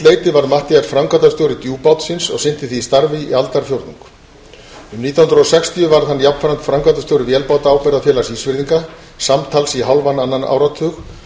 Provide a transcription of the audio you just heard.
leyti varð matthías framkvæmdastjóri djúpbátsins og sinnti því starfi í aldarfjórðung um nítján hundruð og sextíu varð hann jafnframt framkvæmdastjóri vélbátaábyrgðarfélags ísfirðinga samtals í hálfan annan áratug